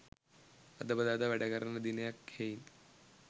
අද බදාදා වැඩ කරන දිනයක් හෙයින්